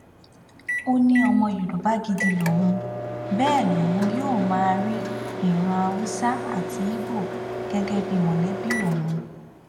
ó ní ọmọ yorùbá gidi lòun bẹẹ lòun yóò máa rí ìran haúsá àti ibo gẹgẹ bíi mọlẹbí òun